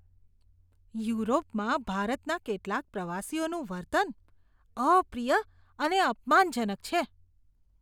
યુરોપમાં ભારતના કેટલાક પ્રવાસીઓનું વર્તન અપ્રિય અને અપમાનજનક છે.